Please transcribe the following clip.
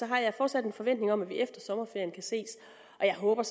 jeg fortsat en forventning om at vi efter sommerferien kan ses jeg håber